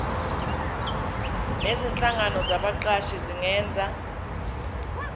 nezinhlangano zabaqashi zingenza